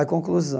A conclusão.